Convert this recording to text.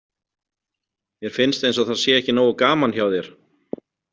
Mér finnst eins og það sé ekki nógu gaman hjá þér.